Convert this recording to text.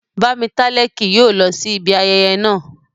Bámitálẹ́ kì yóò lọ sí ibi ayẹyẹ naa